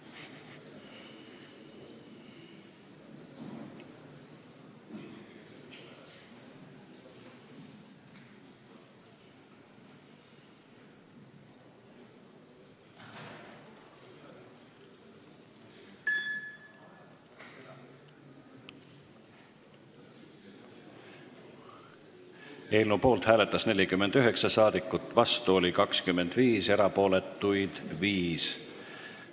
Hääletustulemused Eelnõu poolt hääletas 49 rahvasaadikut, vastu oli 25, erapooletuid 5.